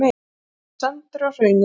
Hann var sendur á Hraunið.